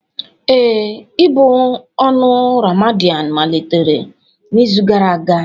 Ee, ị̀bụ ọnụ Ramadan malitere n'izu gara aga.